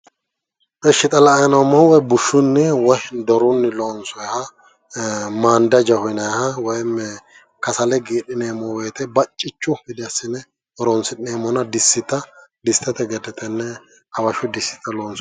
Ishi xa la'anni noommohu bushunni woyi dorunni loonsoonniha maandajaho yinaniha woyim kasale giidhineemmo wote baccichu gede assine horonsi'neemmo distete gede tenne hawashu diste gede assine horonsi'neemmo.